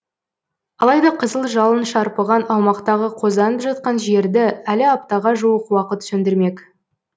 алайда қызыл жалын шарпыған аумақтағы қозданып жатқан жерді әлі аптаға жуық уақыт сөндірмек